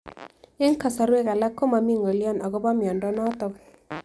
Eng'kasarwek alak ko mami ng'alyo akopo miondo notok